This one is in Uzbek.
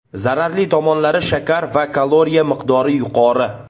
Zararli tomonlari Shakar va kaloriya miqdori yuqori.